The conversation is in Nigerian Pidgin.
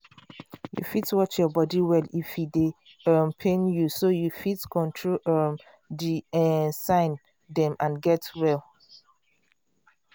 you fit watch your body well if e dey um pain you so you fit control um the um sign dem and get well